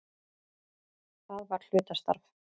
Það var hlutastarf.